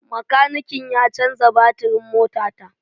Makanikin ya canza batirin motata.